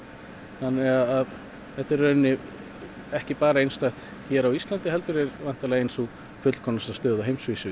þannig þetta er í rauninni ekki bara einstakt hér á Íslandi heldur væntanlega ein sú fullkomnasta stöð á heimsvísu í